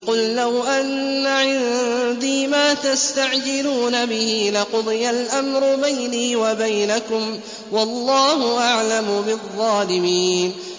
قُل لَّوْ أَنَّ عِندِي مَا تَسْتَعْجِلُونَ بِهِ لَقُضِيَ الْأَمْرُ بَيْنِي وَبَيْنَكُمْ ۗ وَاللَّهُ أَعْلَمُ بِالظَّالِمِينَ